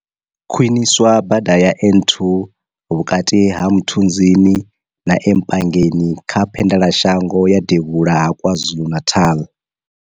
Khwiniswa bada ya N2 vhukati ha Mthunzini na e Mpangeni kha phendelashango ya devhula ha KwaZulu-Natal.